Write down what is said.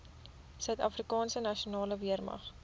suidafrikaanse nasionale weermag